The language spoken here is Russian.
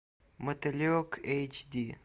мотылек эйч ди